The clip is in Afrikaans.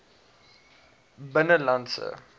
binnelandse